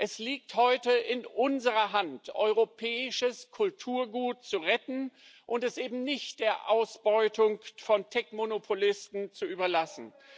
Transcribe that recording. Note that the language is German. Es liegt heute in unserer Hand, europäisches Kulturgut zu retten und es eben nicht der Ausbeutung von Tech Monopolisten zu überlassen.